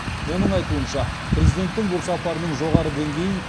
оның айтуынша президенттің бұл сапарының жоғары деңгейін